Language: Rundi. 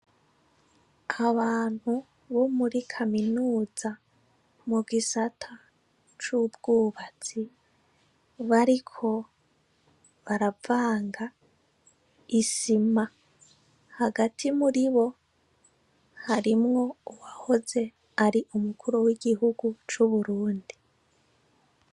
Abantu bomuri kaminuza mugisata cubwubatsi bariko baravanga isima hagati muribo harimwo uwahoze ari umukuru w' igihugu c' uburundi.